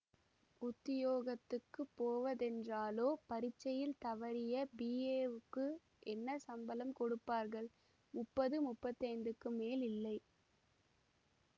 உத்தியோகத்துக்குப் போவதென்றாலோ பரீட்சையில் தவறிய பிஏக்கு என்ன சம்பளம் கொடுப்பார்கள் முப்பது முப்பத்தி ஐந்துக்கு மேல் இல்லை